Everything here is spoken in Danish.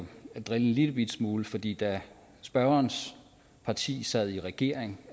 drille en lillebitte smule fordi da spørgerens parti sad i regering